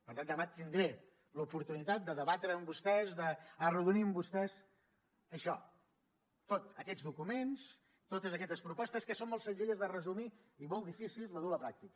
per tant demà tindré l’oportunitat de debatre amb vostès d’arrodonir amb vostès això tots aquests documents totes aquestes propostes que són molt senzilles de resumir i molt difícils de dur a la pràctica